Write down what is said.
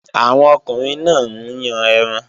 Àwọn ọkùnrin náà ń yàn ẹran